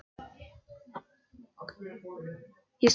Ég skyldi hlú að þér einsog öllum mínum plöntum.